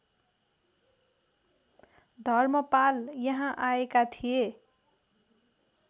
धर्मपाल यहाँ आएका थिए